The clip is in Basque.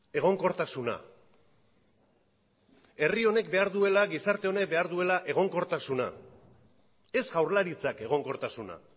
egonkortasuna herri honek behar duela gizarte honek behar duela egonkortasuna ez jaurlaritzak egonkortasuna